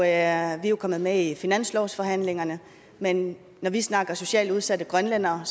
er jo kommet med i finanslovsforhandlingerne men når vi snakker om socialt udsatte grønlændere